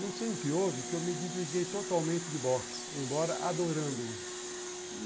Não sei o que houve, que eu me desliguei totalmente de boxe, embora adorando-o.